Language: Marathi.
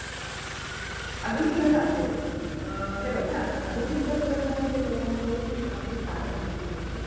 अजून तुला सांगते बघ अ हे बघ हा आधुनिक तंत्रज्ञानाच्या जगामध्ये शिक्षणाची फार मोठी भूमिका आहे.